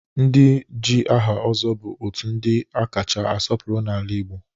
Ndị ji aha Ozo bụ otu ndị a kacha asọpụrụ n'ala Igbo